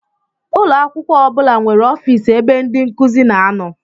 Ụlọakwụkwọ ọbula nwéré ọffici ebe ndị nkụzi na-ano.